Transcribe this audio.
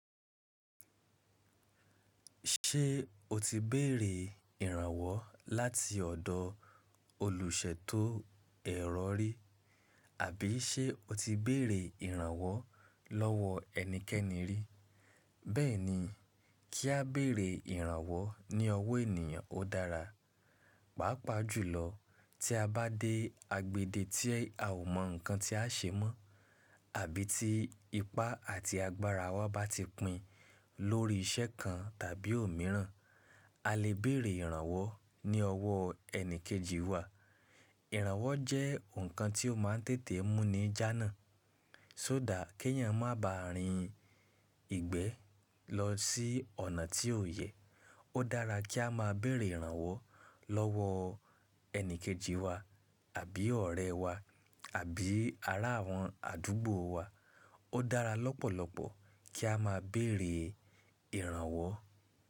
Ṣé o ti béèrè ìrànwọ́ láti ọ̀dọ̀ olùṣẹ tó ẹ̀rọ rí, àbí ṣé o ti béèrè ìrànwọ́ lọ́wọ́ ẹnikẹ́ni rí? Bẹ́ẹ̀ ni, kí a béèrè ìrànwọ́ ní ọwọ́ ènìyàn ó dára. Pàápàá jùlọ tí a bá dé agbèdè tí a ò mọ nǹkan tí a ṣe mọ́, àbí tí ipá àti agbára wa bá ti pìn lórí iṣẹ́ kan tàbí òmíràn, a lè béèrè ìrànwọ́ ní ọwọ́ ẹni kejì wa. Ìrànwọ́ jẹ́ nǹkan tí ó máa ń tètè mú ní jánà, só dà kí èèyàn má ba à rin ìgbẹ́ lọ sí ọ̀nà tí ò yẹ. Ó dára kí a má a béèrè ìrànwọ́ lọ́wọ ẹni kejì wa àbí ọ̀rẹ́ wà àbí ará àwọn àdúgbò wa. Ó dára lọ́pọ̀lọpọ̀ kí a má a béèrè ìrànwọ́.